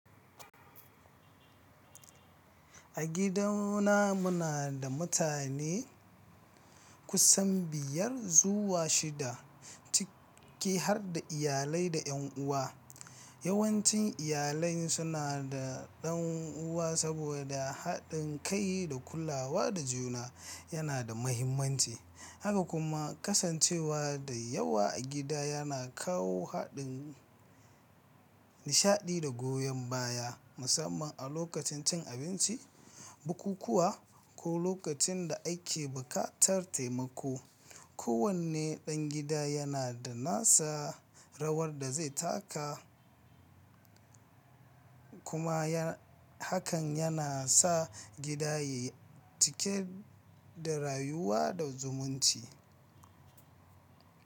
A gidana muna da mutane kusan biyar zuwa shida, ciki har da iyalai da 'yan uwa. Yawancin iyalai suna da ɗan uwa saboda haɗin kai da kulawa da juna yana da mahimmanci. Haka kuma kasancewa da yawa a gida yana kawo haɗin nishaɗi da goyon baya, musamman a lokacin cin abinci, bukukuwa, ko lokacin da a ke buƙatar taimako. Kowane ɗan gida yana da nasa rawar da zai taka, kuma hakan yana sa gida yayi cike da rayuwa da zumunci.